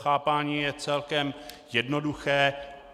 Chápání je celkem jednoduché.